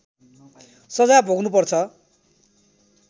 सजाय भोग्नुपर्छ